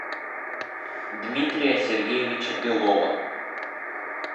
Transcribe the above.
дмитрия сергеевича белова